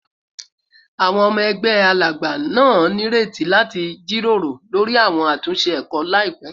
Awọn ọmọ ẹgbẹ Alagba naa nireti lati jiroro lori awọn atunṣe ẹkọ laipẹ